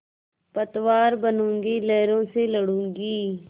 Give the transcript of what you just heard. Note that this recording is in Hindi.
पतवार बनूँगी लहरों से लडूँगी